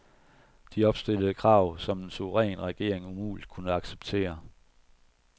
De opstillede krav, som en suveræn regering umuligt kunne acceptere.